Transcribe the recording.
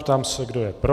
Ptám se, kdo je pro.